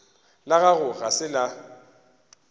la gago ga se la